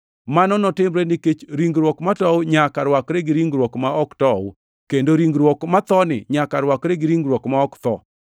Mano notimre nikech ringruok matow nyaka rwakre gi ringruok ma ok tow, kendo ringruok mathoni nyaka rwakre gi ringruok ma ok tho.